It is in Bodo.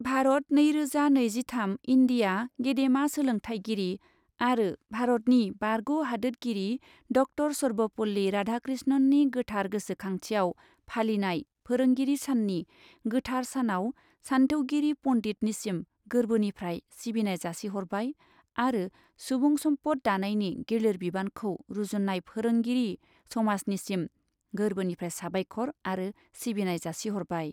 भारत नैरोजा नैजिथाम इन्डिया गेदेमा सोलोंथाइगिरि आरो भारतनि बारग' हादोतगिरि डक्टर सर्बपल्ली राधाकृष्णननि गोथार गोसोखांथियाव फालिनाय फोरोंगिरि साननि गोथार सानाव सान्थौगिरि पण्डितनिसिम गोर्बोनिफ्राय सिबिनाय जासिहरबाय आरो सुबुं सम्पद दानायनि गिलिर बिबानखौ रुजुन्नाय फोरोंगिरि समाजनिसिम गोर्बोनिफ्राय साबायखर आरो सिबिनाय जासिहरबाय।